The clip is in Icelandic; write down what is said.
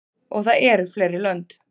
Og það eru fleiri lönd.